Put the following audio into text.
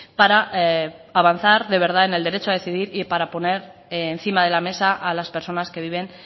para avanzar de verdad en el derecho a decidir y para poner encima de la mesa a las personas que viven